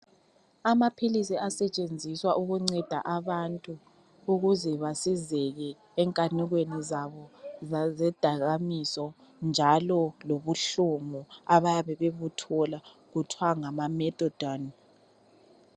Amaphilisi asethenziswa ukunceda abantu ukuze basizeke enkanukweni zabo zezidakamizwa njalo lobuhlungu abayabe bebuthola kuthiwa ngama -Methadone.